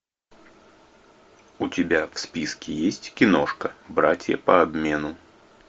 у тебя в списке есть киношка братья по обмену